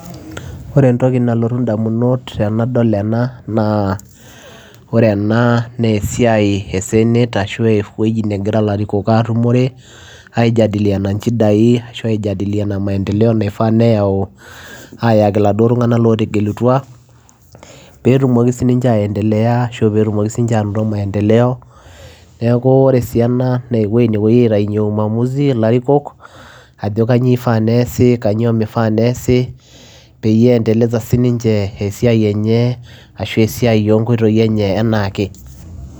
Ore entokii nalotu idamunot tenadol enaa naa senate ewuejii nagiraa ilorikon atumore aijadiliana nchidai peyiee etumokii anaanoto maendeleo eweujii ee uamuzi peirce endeleza esiai